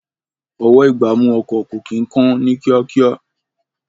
Ọwọ́-ìgbámú ọkọ̀ kò kí ń kán ní kíákíá